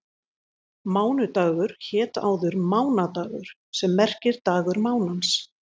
Mánudagur hét áður mánadagur sem merkir dagur mánans.